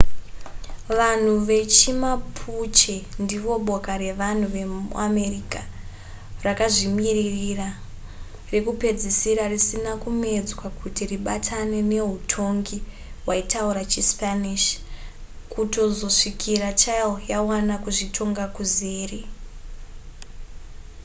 vanhu vechimapuche ndivo boka revanhu vemuamerica rakazvimirira rekupedzisira risina kumedzwa kuti ribatane neutongi hwaitaura chispanish kutozosvikira chile yawana kuzvitonga kuzere